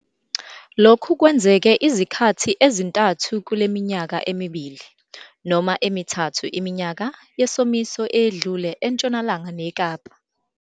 Lokhu kwenzeke izikhathi ezintathu kule minyaka emibili noma emithathu iminyaka yesomiso eyedlule eNtshonalanga neKapa.